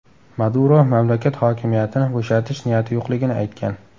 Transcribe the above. Maduro mamlakat hokimiyatini bo‘shatish niyati yo‘qligini aytgan.